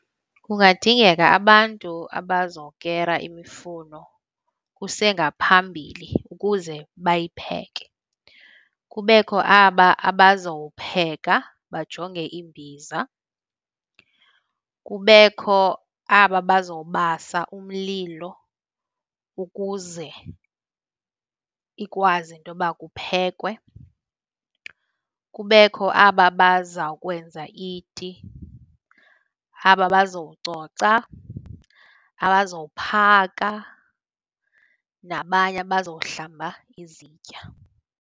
Kungadingeka abantu abazokera imifuno kusengaphambili ukuze bayipheke. Kubekho aba abazopheka, bajonge iimbiza. Kubekho aba abazobasa umlilo ukuze ikwazi intoba kuphekwe. Kubekho aba bazawukwenza iti, aba bazococa, abazophaka nabanye abazohlamba izitya.